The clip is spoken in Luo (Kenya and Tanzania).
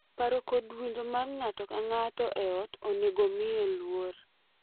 Paro kod winjo mar ng’ato ka ng’ato e ot onego omiye luor,